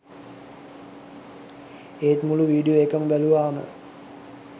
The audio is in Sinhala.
ඒත් මුළු වීඩියෝ එකම බැලුවම